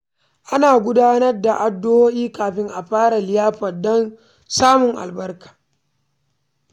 Ana gudanar da addu’a kafin a fara liyafar don samun albarka.